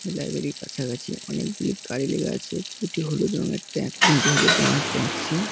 Library র কাছাকাছি অনেকগুলি গাড়ি লেগে আছে। দুটি হলুদ রংয়ের ট্যা তিনটি হলুদ রঙের ট্যাক্সি --